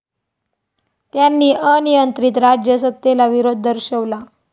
त्यांनी अनियंत्रित राज्य सत्तेला विरोध दर्शवला